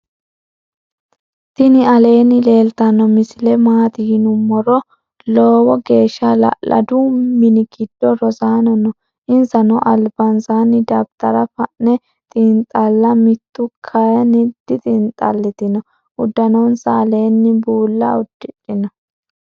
tini alleni leltano misile maati yinumoro. loowo gesha hala'ladu minngido rosano noo. insano albansani dabitara fa'ne lxinxalitano. mittu katini dixinxalitino. udanonsa alleni buula udidhino?